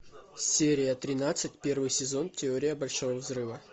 серия тринадцать первый сезон теория большого взрыва